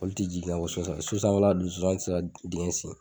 Olu ti jigin ka bɔ so sanfɛ, so sanfɛ la dun zonzani ti se ka dingɛ sen